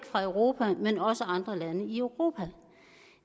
fra europa men også andre lande i europa